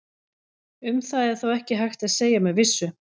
Um það er þó ekki hægt að segja með vissu.